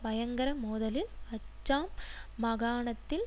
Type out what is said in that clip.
பயங்கர மோதலில் அச்சாம் மகாணத்தில்